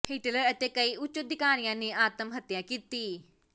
Hitler ਅਤੇ ਕਈ ਉੱਚ ਅਧਿਕਾਰੀਆਂ ਨੇ ਆਤਮ ਹੱਤਿਆ ਕੀਤੀ